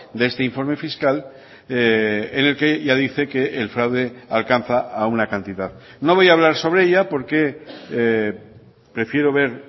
de este informe fiscal en el que ya dice que el fraude alcanza a una cantidad no voy a hablar sobre ella porque prefiero ver